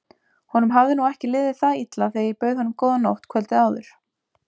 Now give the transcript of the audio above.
Honum hafði nú ekki liðið það illa þegar ég bauð honum góða nótt kvöldið áður.